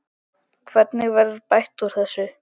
Hvernig verður bætt úr þessu?